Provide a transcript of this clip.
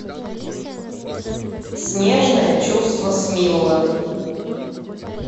снежное чувство смиллы